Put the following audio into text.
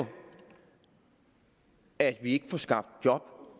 at vi ikke får skabt job